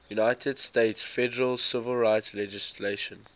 united states federal civil rights legislation